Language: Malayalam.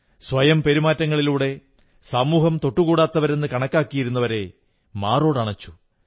സ്വയം പെരുമാറ്റങ്ങളിലൂടെ സമൂഹം തൊട്ടുകൂടാത്തവരെന്നു കണക്കാക്കിയിരുന്നവരെ മാറോടണച്ചു